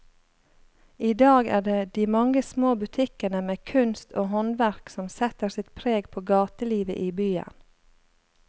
I dag er det de mange små butikkene med kunst og håndverk som setter sitt preg på gatelivet i byen.